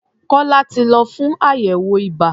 Kọ́lá ti lọ fún àyẹ̀wò ibà.